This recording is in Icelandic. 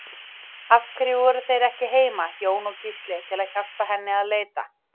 Af hverju voru þeir ekki heima, Jón og Gísli, til að hjálpa henni að leita?